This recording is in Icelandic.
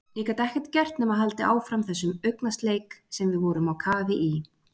Ég gat ekkert gert nema haldið áfram þessum augnasleik sem við vorum á kafi í.